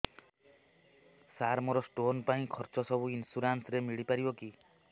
ସାର ମୋର ସ୍ଟୋନ ପାଇଁ ଖର୍ଚ୍ଚ ସବୁ ଇନ୍ସୁରେନ୍ସ ରେ ମିଳି ପାରିବ କି